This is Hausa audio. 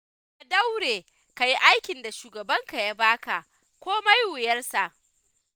Ka daure, ka yi aikin da shugabanka ya ba ka, komai wuyarsa.